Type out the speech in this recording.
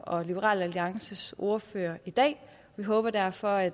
og liberal alliances ordførere i dag vi håber derfor at